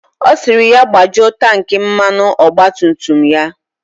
Ọ sịrị ya gbajuo tanki mmanụ ọgba tum tum ya.